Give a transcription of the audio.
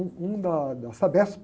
Um, um da, da Sabesp.